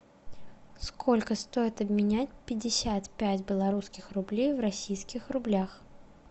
сколько стоит обменять пятьдесят пять белорусских рублей в российских рублях